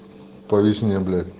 по весне блять